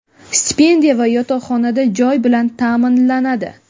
stipendiya va yotoqxonada joy bilan taʼminlanadi.